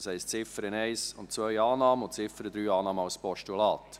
Das heisst: Ziffer 1 und 2: Annahme, und Ziffer 3: Annahme als Postulat.